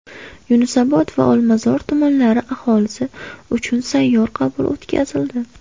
Yunusobod va Olmazor tumanlari aholisi uchun sayyor qabul o‘tkazildi.